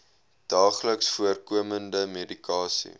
daagliks voorkomende medikasie